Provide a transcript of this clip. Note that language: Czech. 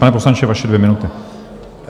Pane poslanče, vaše dvě minuty.